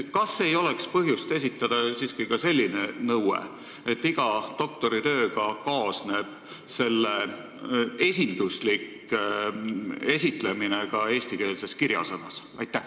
Kas ei oleks põhjust kehtestada ka selline nõue, et iga doktoritööga kaasneb selle esinduslik esitlemine ka eestikeelses kirjasõnas?